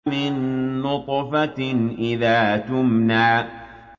مِن نُّطْفَةٍ إِذَا تُمْنَىٰ